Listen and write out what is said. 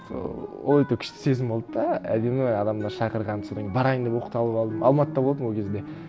сол ол өйтіп күшті сезім болды да әдемі адамдар шақырған содан кейін барайын деп оқталып алдым алматыда болдым ол кезде